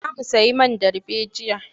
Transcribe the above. Za mu sayi man darbejiya.